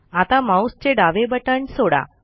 आता माऊसचे डावे बटण सोडा